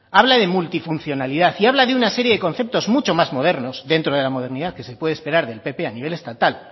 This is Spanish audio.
habla de multifuncionalidad y habla de una serie de conceptos mucho más modernos dentro de la modernidad que se puede esperar del pp a nivel estatal